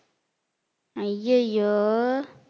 ஐயையோ